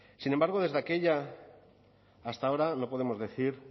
sin embargo desde aquella hasta ahora no podemos decir